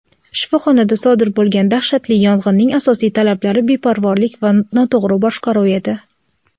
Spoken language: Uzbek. "shifoxonada sodir bo‘lgan dahshatli yong‘inning asosiy sabablari beparvolik va noto‘g‘ri boshqaruv edi".